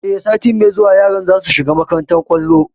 E, sai sati mai zuwa yaran za su shiga makantar kwallon.